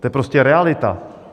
To je prostě realita.